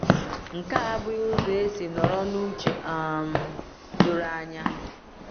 .Nke a abụghị ụzọ esi nọrọ n’uche um doro anya.